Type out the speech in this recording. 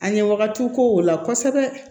A ɲɛ wagatiw ko o la kosɛbɛ